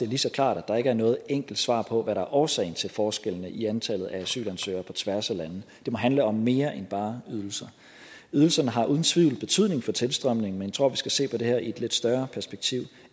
lige så klart at der ikke er noget enkelt svar på hvad der er årsagen til forskellene i antallet af asylansøgere på tværs af lande det må handle om mere end bare ydelser ydelserne har uden tvivl betydning for tilstrømningen men jeg tror at vi skal se på det her i et lidt større perspektiv